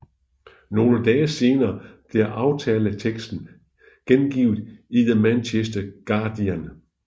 Nogle dage senere blev aftaleteksten gengivet i The Manchester Guardian